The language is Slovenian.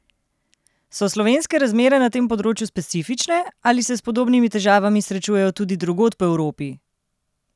So slovenske razmere na tem področju specifične, ali se s podobnimi težavami srečujejo tudi drugod po Evropi?